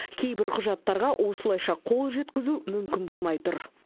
кейбір құжаттарға осылайша қол жеткізу мүмкін болмай тұр